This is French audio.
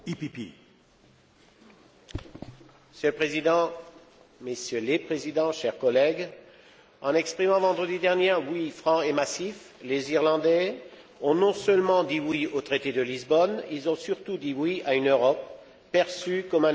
Monsieur le Président, Messieurs les Présidents, chers collègues, en exprimant vendredi dernier un oui franc et massif, les Irlandais ont non seulement dit oui au traité de Lisbonne, ils ont surtout dit oui à une Europe perçue comme un espace de solidarité et de valeurs communes.